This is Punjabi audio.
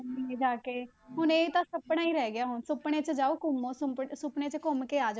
ਘੁੰਮੇਗੇ ਜਾ ਕੇ ਹੁਣ ਇਹ ਤਾਂ ਸੁਪਨਾ ਹੀ ਰਹਿ ਗਿਆ ਹੁਣ, ਸੁਪਨੇ 'ਚ ਜਾਓ ਘੁੰਮੋ ਸੁੰਪਟ ਸੁਪਨੇ 'ਚ ਘੁੰਮ ਕੇ ਆ ਜਾਓ